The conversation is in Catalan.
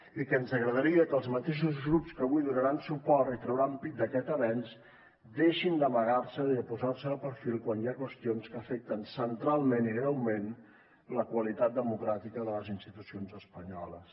i que ens agradaria que els mateixos grups que avui donaran suport i trauran pit d’aquest avenç deixin d’amagar se i de posar se de perfil quan hi ha qüestions que afecten centralment i greument la qualitat democràtica de les institucions espanyoles